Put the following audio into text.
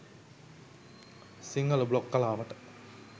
Sinhala blog කලාවට